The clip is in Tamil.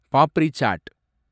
பாப்ரி சாட்